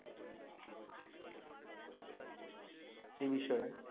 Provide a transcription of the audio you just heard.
এই বিষয়ে